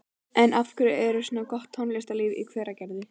En af hverju er svona gott tónlistarlíf í Hveragerði?